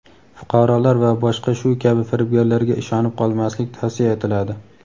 fuqarolar va boshqa shu kabi firibgarlarga ishonib qolmaslik tavsiya etiladi.